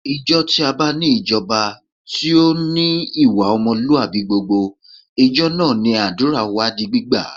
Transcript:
Ìjọ tí a bá ní ìjọba tí ó ní ìwà ọmọlúwàbí gbogbo, ìjọ náà ni àdúrà wa di gbígbà